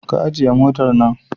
Ki ajiye motar nan